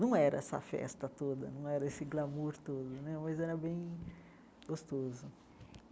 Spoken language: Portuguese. Não era essa festa toda, não era esse glamour todo né, mas era bem gostoso.